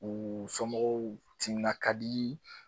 U somɔgɔw timinan ka di